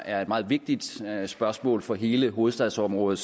er et meget vigtigt spørgsmål for hele hovedstadsområdet